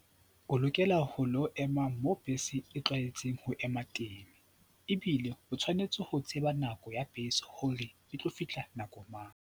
O lokela ho lo ema moo bese e tlwaetseng ho ema teng ebile o tshwanetse ho tseba nako ya bese hore e tlo fihla nako mang.